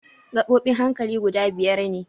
Gaɓoɓin hankali guda biyar ne.